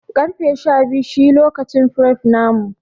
Karfe Shabiyu shi lokacin fref namu.